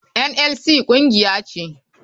NLC kungiya ce.